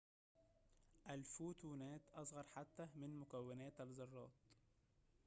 الفوتونات أصغر حتى من مكونات الذرات